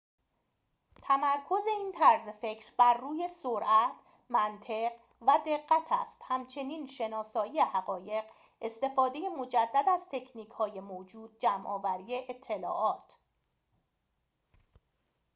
تمرکز این طرز فکر بر روی سرعت منطق و دقت است همچنین شناسایی حقایق استفاده مجدد از تکنیک های موجود جمع آوری اطلاعات